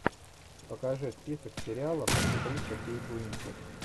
покажи список сериалов актриса кейт уинслет